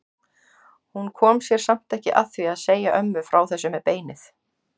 Hún kom sér samt ekki að því að segja ömmu frá þessu með beinið.